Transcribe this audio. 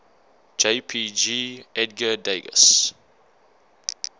jpg edgar degas